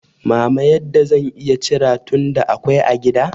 mama yadda zan iya cira, tunda akwai a gida.